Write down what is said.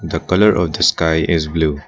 The colour of the sky is blue.